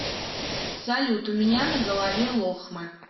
салют у меня на голове лохмы